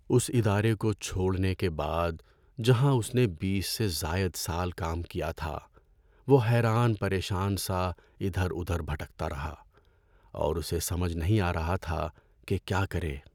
اس ادارے کو چھوڑنے کے بعد، جہاں اس نے بیس سے زائد سال کام کیا تھا، وہ حیران پریشان سا ادھر ادھر بھٹکتا رہا اور اسے سمجھ نہیں آ رہا تھا کہ کیا کرے۔